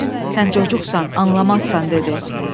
Sus, sən cocuqsan, anlamazsan, dedi.